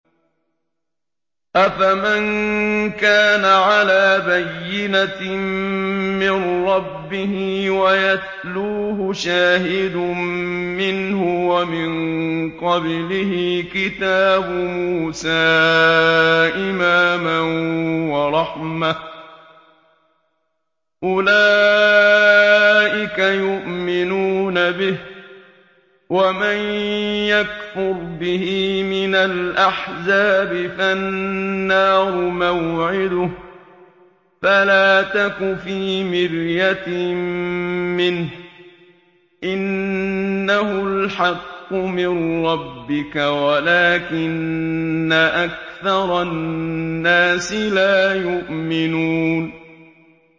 أَفَمَن كَانَ عَلَىٰ بَيِّنَةٍ مِّن رَّبِّهِ وَيَتْلُوهُ شَاهِدٌ مِّنْهُ وَمِن قَبْلِهِ كِتَابُ مُوسَىٰ إِمَامًا وَرَحْمَةً ۚ أُولَٰئِكَ يُؤْمِنُونَ بِهِ ۚ وَمَن يَكْفُرْ بِهِ مِنَ الْأَحْزَابِ فَالنَّارُ مَوْعِدُهُ ۚ فَلَا تَكُ فِي مِرْيَةٍ مِّنْهُ ۚ إِنَّهُ الْحَقُّ مِن رَّبِّكَ وَلَٰكِنَّ أَكْثَرَ النَّاسِ لَا يُؤْمِنُونَ